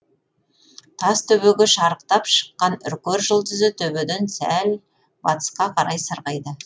тас төбеге шарықтап шыққан үркер жұлдызы төбеден сәл батысқа қарай сырғиды